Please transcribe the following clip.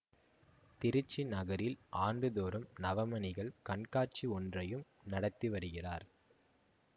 திருச்சி நகரில் ஆண்டு தோறும் நவமணிகள் கண்காட்சி ஒன்றையும் நடத்தி வருகிறார்